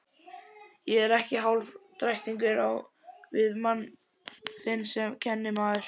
Ég er ekki hálfdrættingur á við mann þinn sem kennimaður.